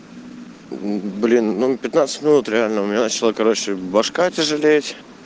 блин ну пятнадцать минут реально у меня начала короче башка тяжелеть